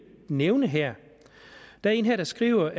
nævne her der er en her der skriver